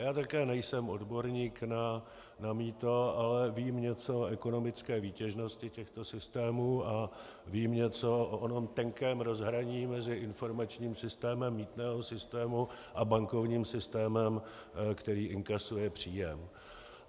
Já také nejsem odborník na mýto, ale vím něco o ekonomické výtěžnosti těchto systémů a vím něco o onom tenkém rozhraní mezi informačním systémem mýtného systému a bankovním systémem, který inkasuje příjem.